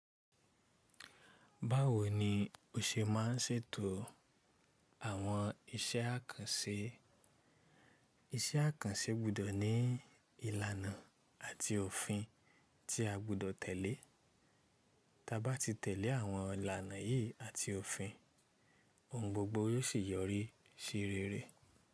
Báwo ni o ṣe ma ń ṣètò àwọn iṣẹ́ àkànṣe? Iṣẹ́ àkànṣe gbọdọ̀ ní ìlànà àti òfin tí a gbọdọ̀ tẹ̀lé. Taba ti tẹ̀lé àwọn ìlànà yìí àti òfin, ohun gbogbo yóò sì yọrí sí rere.